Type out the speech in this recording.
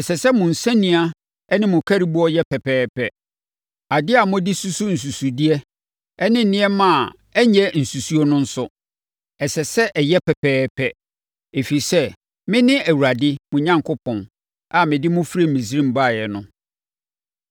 Ɛsɛ sɛ mo nsania ne mo nkariboɔ yɛ pɛpɛɛpɛ. Adeɛ a mode susu nsunsudeɛ ne nneɛma a ɛnyɛ nsunsu no nso, ɛsɛ sɛ ɛyɛ pɛpɛɛpɛ, ɛfiri sɛ, mene Awurade mo Onyankopɔn a mede mo firi Misraim baeɛ no.